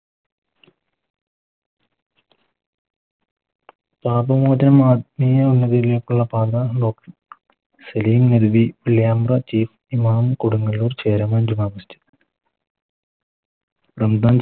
Salim Ali Imam Kodungallur